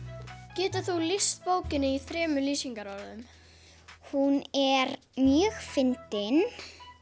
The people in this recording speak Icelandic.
getur þú lýst bókinni í þremur lýsingarorðum hún er mjög fyndin